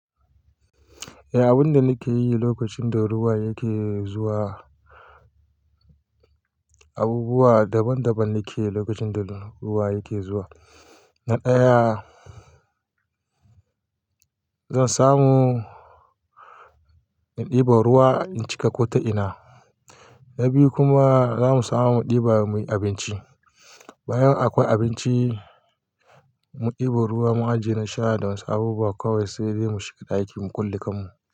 Eh, abun da muke yi lokacin da ruwa yake zuwa, abubuwa daban daban ne ke lokacin da ruwa yake zuwa. Na ɗaya, zan samu in ɗebo ruwa in cika ƙota ina, na biyu kuma za mu samu mu ɗeba muyi abinci. Bayan akwai abinci, mun ɗebo ruwa mun ajiye na sha da wasu abubuwa kawai sai dai mu shiga ɗaki mu kulle kanmu.